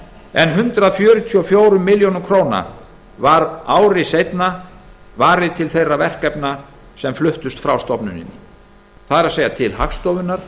en hundrað fjörutíu og fjórar milljónir króna var ári seinna varið til þeirra verkefna sem fluttust frá stofnuninni það er til hagstofunnar